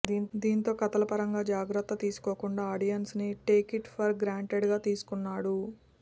దీంతో కథల పరంగా జాగ్రత్త తీసుకోకుండా ఆడియన్స్ని టేకిట్ ఫర్ గ్రాంటెడ్గా తీసుకున్నాడు